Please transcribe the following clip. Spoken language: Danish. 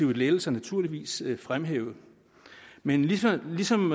lettelser naturligvis fremhævet men ligesom ligesom